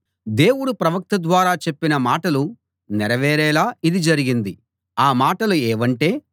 దేవుడు ప్రవక్త ద్వారా చెప్పిన మాటలు నెరవేరేలా ఇది జరిగింది ఆ మాటలు ఏవంటే